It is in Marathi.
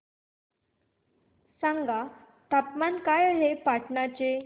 सांगा तापमान काय आहे पाटणा चे